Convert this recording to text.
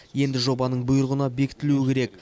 енді жобаның бұйрығына бекітілу керек